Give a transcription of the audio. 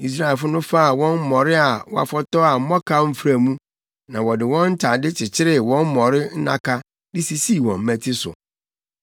Israelfo no faa wɔn mmɔre a wɔafɔtɔw a mmɔkaw mfra mu, na wɔde wɔn ntade kyekyeree wɔn mmɔre nnaka de sisii wɔn mmati so.